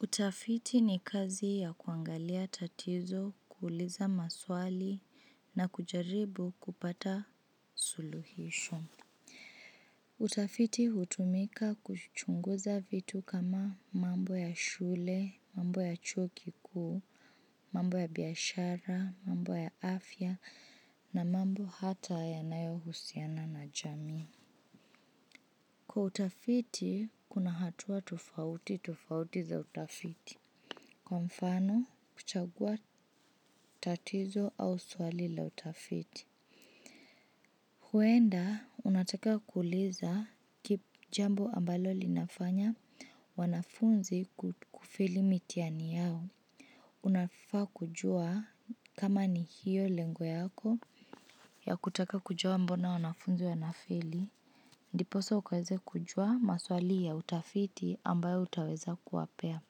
Utafiti ni kazi ya kuangalia tatizo, kuuliza maswali, na kujaribu kupata suluhisho. Utafiti hutumika kuchunguza vitu kama mambo ya shule, mambo ya chuo kikuu, mambo ya biashara, mambo ya afya, na mambo hata yanayohusiana na jamii. Kwa utafiti, kuna hatua tofauti tofauti za utafiti. Kwa mfano, kuchagua tatizo au swali la utafiti. Huenda, unataka kuuliza kip jambo ambalo linafanya wanafunzi kufeli mitihani yao. Unafaa kujua kama ni hiyo lengo yako ya kutaka kujua mbona wanafunzi wanafeli. Ndiposa ukaweze kujua maswali ya utafiti ambayo utaweza kuwapea.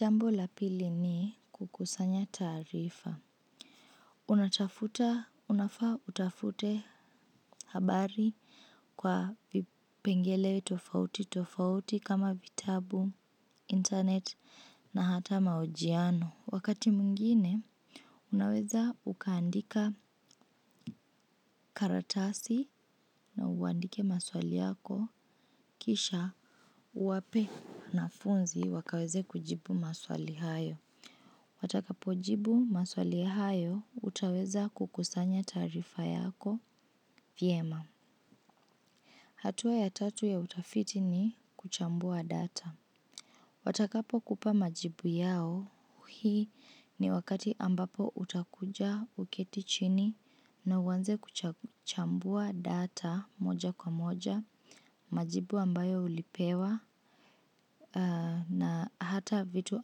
Jambo la pili ni kukusanya taarifa. Unatafuta unafaa utafute habari kwa vipengele tofauti tofauti kama vitabu, internet na hata mahojiano. Wakati mwingine, unaweza ukaandika karatasi na uandike maswali yako kisha uwape wanafunzi wakaweze kujibu maswali hayo. Watakapojibu maswali hayo, utaweza kukusanya taarifa yako vyema. Hatua ya tatu ya utafiti ni kuchambua data. Watakapokupa majibu yao, hii ni wakati ambapo utakuja uketi chini na uanze kuchambua data moja kwa moja, majibu ambayo ulipewa, na hata vitu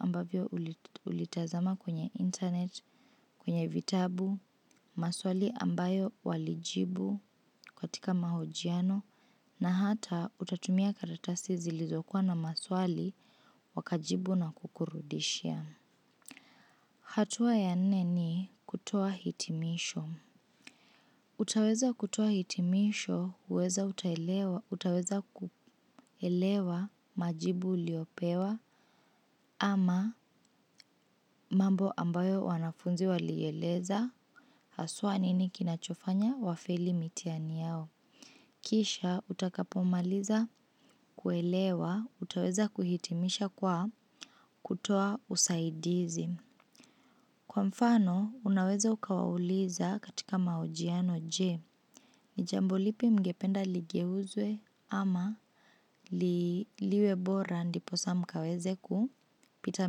ambavyo ulitazama kwenye internet, kwenye vitabu, maswali ambayo walijibu katika mahojiano na hata utatumia katatasi zilizokuwa na maswali wakajibu na kukurudishia. Hatua ya nne ni kutoa hitimisho. Utaweza kutoa hitimisho, huweza utaelewa utaweza kuelewa majibu uliyopewa ama mambo ambayo wanafunzi walieleza haswa nini kinachofanya wafeli mitihani yao. Kisha, utakapomaliza kuelewa, utaweza kuhitimisha kwa kutoa usaidizi. Kwa mfano, unaweza ukawauliza katika mahojiano je, ni jambo lipi mngependa ligeuzwe ama liwe bora ndiposa mkaweze kupita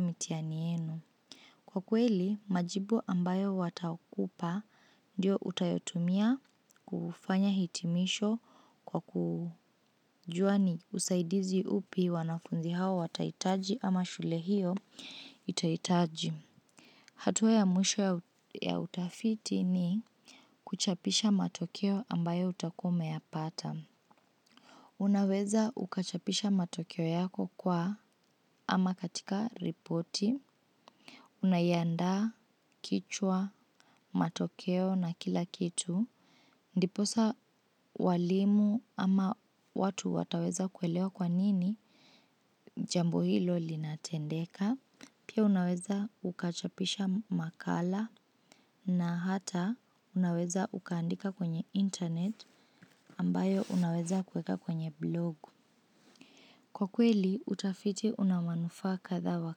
mitihani yenu. Kwa kweli, majibu ambayo watakupa ndio utayotumia kufanya hitimisho kwa kujua ni usaidizi upi wanafunzi hawa watahitaji ama shule hiyo itahitaji. Hatua ya mwisho ya utafiti ni kuchapisha matokeo ambayo utakuwa umeyapata. Unaweza ukachapisha matokeo yako kwa ama katika ripoti. Unaiandaa kichwa, matokeo na kila kitu. Ndiposa walimu ama watu wataweza kuelewa kwa nini jambo hilo linatendeka. Pia unaweza ukachapisha makala na hata unaweza ukaandika kwenye internet ambayo unaweza kuweka kwenye blog. Kwa kweli, utafiti una manufaa kadha wa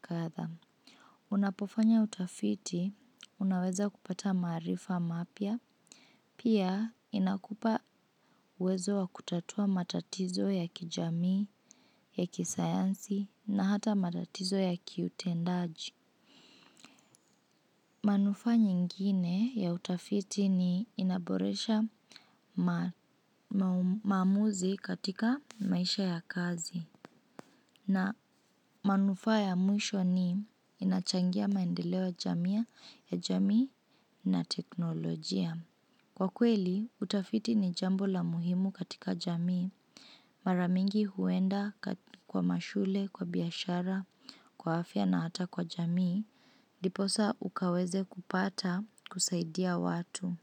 kadha. Unapofanya utafiti, unaweza kupata maarifa mapya. Pia, inakupa uwezo wa kutatua matatizo ya kijamii, ya kisayansi na hata matatizo ya kiutendaji. Manufaa nyingine ya utafiti ni inaboresha maamuzi katika maisha ya kazi na manufaa ya mwisho ni inachangia maendeleo jamia ya jamii na teknolojia. Kwa kweli, utafiti ni jambo la muhimu katika jamii. Mara mingi huenda kwa mashule, kwa biashara, kwa afya na hata kwa jamii. Ndiposa ukaweze kupata kusaidia watu.